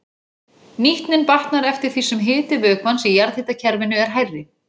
Nýtnin batnar eftir því sem hiti vökvans í jarðhitakerfinu er hærri.